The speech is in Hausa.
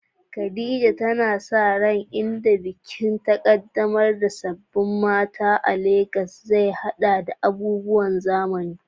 Khadija tana sa rai nan gaba, inda bikin ƙaddamar da sabbin mata a Legas zai haɗa da abubuwan zamani.